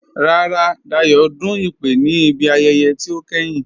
Rárá, Dáyọ̀ dún ìpè ní ibi ayẹyẹ̀ tí o kẹ́hìn